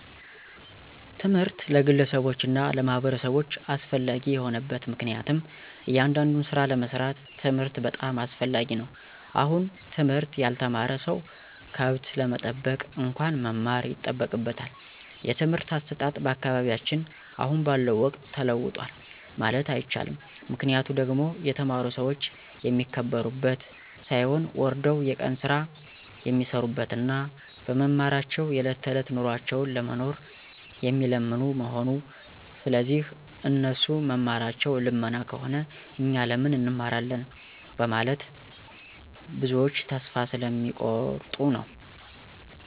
ትምህርት ለግለሰቦች እና ለማህበረሰቦች አስፈላጊ የሆነበት ምክንያቱም እያንዳዱን ስራ ለመስራት ትምህርት በጣም አስፈላጊ ነው አሁን ትምህርት ያልተማረ ሰው ከብት ለመጠበቅ እንኳን መማር ይጠበቅበታል። የትምህርት አሰጣጥ በአካባቢያችን አሁን ባለው ወቅት ተለውጧል ማለት አይቸልም ምክንያቱ ደግሞ የተማሩ ሰዎች የሚከበሩበት ሳይሆን ወርደው የቀን ስራ የሚሰሩበት እና በመማራቸው የዕለት ተዕለት ኑሯቸውን ለመኖር የሚለምኑ መሆኑ ስለዚህ እነሱ መማራቸው ልመና ከሆነ እኛ ለምን እንማራለን በመለት ብዞች ተስፋ ስለሚ ቆርጡ ነዉ።